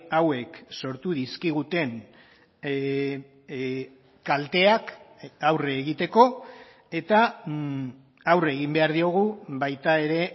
hauek sortu dizkiguten kalteak aurre egiteko eta aurre egin behar diogu baita ere